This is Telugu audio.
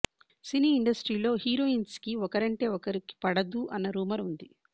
సినీ ఇండస్ట్రీలో హీరోయిన్స్కి ఒకరంటే ఒకరికి పడదు అన్న రూమర్ ఉంది